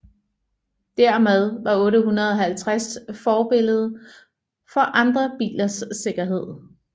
Dermed var 850 forbillede for andre bilers sikkerhed